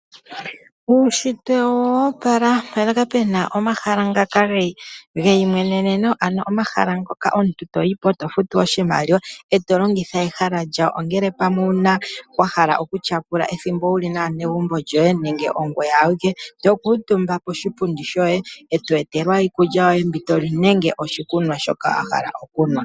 Uunshitwe owo opala mpoka pu na omahala ngoka geyimweneneno, ano omahala mpoka omuntu to yi po e to futu oshimaliwa e to longitha ehala lyawo ngele owa hala okutyapula ethimbo wu li naanegumbo lyoye nenge ongoye awike to kuutumba poshipundi shoye e to etelwa iikulya yoye mbi to li nenge oshikunwa shoka wa hala okunwa.